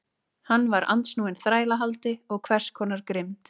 Hann var andsnúinn þrælahaldi og hvers konar grimmd.